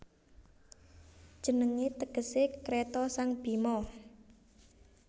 Jenengé tegesé Kreta sang Bhima